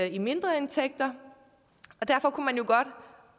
i mindre indtægter og derfor kunne man jo godt